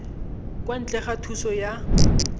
kwa ntle ga thuso ya